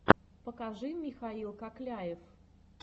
покажи михаил кокляев